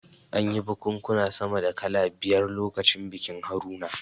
An yi bikunkuna sama da kala biyar lokacin bikin Haruna